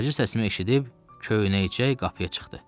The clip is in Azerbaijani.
Hacı səsimi eşidib, köynəkcə qapıya çıxdı.